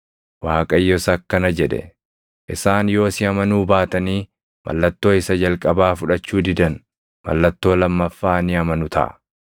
Waaqayyos akkana jedhe; “Isaan yoo si amanuu baatanii mallattoo isa jalqabaa fudhachuu didan mallattoo lammaffaa ni amanu taʼa.